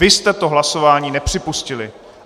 Vy jste to hlasování nepřipustili.